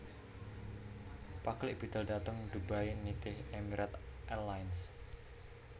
Paklik bidal dhateng Dubai nitih Emirate Airlines